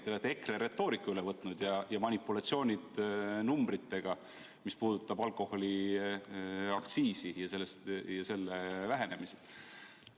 Te olete üle võtnud EKRE retoorika ja manipulatsioonid numbritega, mis puudutab alkoholiaktsiisi ja selle vähenemist.